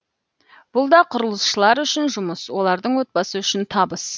бұл да құрылысшылар үшін жұмыс олардың отбасы үшін табыс